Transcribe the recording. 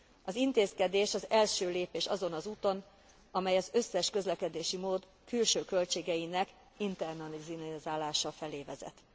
Az intézkedés az első lépés azon az úton, amely az összes közlekedési mód külső költségeinek internalizálása felé vezet.